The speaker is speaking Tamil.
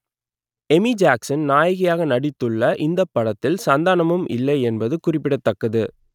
எமி ஜாக்சன் நாயகியாக நடித்துள்ள இந்தப் படத்தில் சந்தானமும் இல்லை என்பது குறிப்பிடத்தக்கது